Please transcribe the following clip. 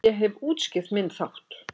Ég hef útskýrt minn þátt.